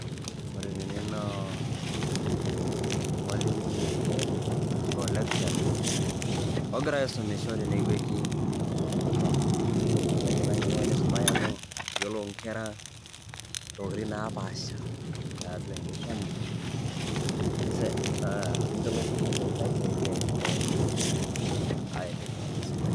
wore ele naa olmalimui ele arashu lecturer ogira aisum inkera. nakeyiolou inkera ntokiting' napasha tiatua enkisuma neyiolou intokiting naisaidia te sukuul